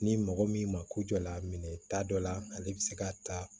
Ni mɔgɔ min ma ko jɔ la a minɛ t'a dɔ la ale bi se ka taa